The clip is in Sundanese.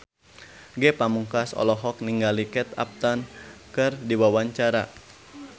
Ge Pamungkas olohok ningali Kate Upton keur diwawancara